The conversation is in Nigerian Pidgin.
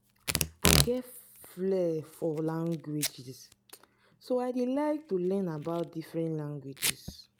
i get flare for languages so i dey like to learn about different languages